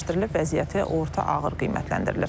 vəziyyəti orta ağır qiymətləndirilir.